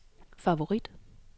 favorit